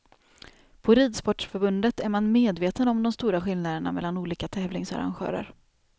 På ridsportförbundet är man medveten om de stora skillnaderna mellan olika tävlingsarrangörer.